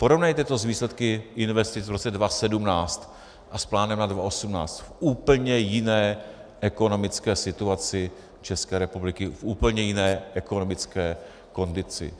Porovnejte to s výsledky investic v roce 2017 a s plánem na 2018 v úplně jiné ekonomické situaci České republiky, v úplné jiné ekonomické kondici.